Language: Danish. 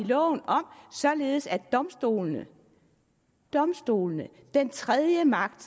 loven om således at domstolene domstolene den tredje magt